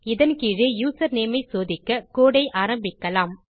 இதன் கீழே யூசர்நேம் ஐ சோதிக்க கோடு ஐ ஆரம்பிக்கலாம்